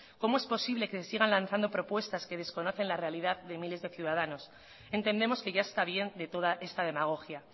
cómo es posible que se sigan lanzando propuestas que desconocen la realidad de miles de ciudadanos entendemos que ya está bien de toda esta demagogia